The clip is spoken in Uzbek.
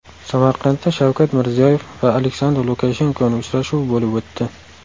Samarqandda Shavkat Mirziyoyev va Aleksandr Lukashenkoning uchrashuvi bo‘lib o‘tdi.